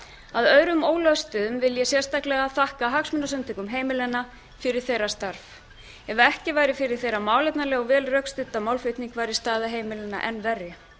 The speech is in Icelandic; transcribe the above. á að öðrum ólöstuðum vil ég sérstaklega þakka hagsmunasamtökum heimilanna fyrir þeirra starf ef ekki væri fyrir þeirra málefnalega og vel rökstudda málflutnings væri staða heimilanna enn verri